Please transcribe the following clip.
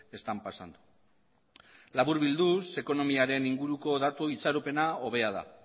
están pasando laburbilduz ekonomiaren inguruko datu itxaropena hobea da